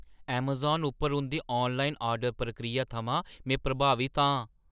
Amazon उप्पर उं‘दी online order प्रक्रिया थमां में प्रभावत आं ।